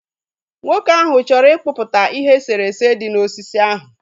Nwoke ahụ chọrọ ịkpụpụta ihe eserese dị na osisi ahụ